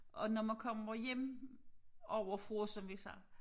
Og når man kommer hjem ovre fra som vi siger